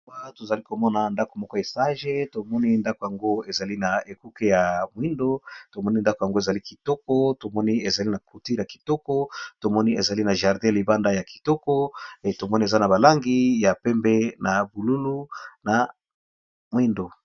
Awa tozali ko mona ndako moko esage to moni ndako yango ezali na ekuke ya mwindo to moni ndako yango ezali kitoko to moni ezali na cloture ya kitoko to moni ezali na jardin libanda ya kitoko to moni eza na ba langi ya pembe na bululu na mwindo.